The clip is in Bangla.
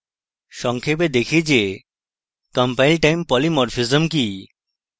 সংক্ষেপে দেখি যে compile time polymorphism কি